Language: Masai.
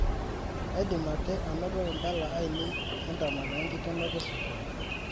kaidim ake anoto imbala aiinei entemata enkikenoto e sukuul